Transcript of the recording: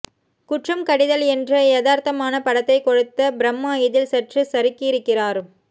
குற்றம் கடிதல் என்ற யதார்த்தமான படத்தை கொடுத்த பிரம்மா இதில் சற்று சறுக்கியிருக்கிறார்